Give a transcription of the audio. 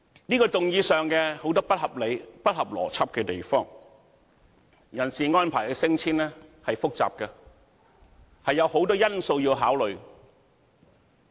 這項議案有很多不合理及不合邏輯的地方，人事安排的升遷是複雜的，有很多因素要考慮。